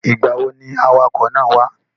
Ìgbà wo ni awakọ̀ náà wá?